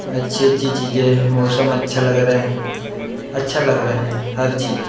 अच्छे अच्छे चीज़ हैं मौसम अच्छा लग रहा हैं अच्छा लगा रहा हर चीज़े।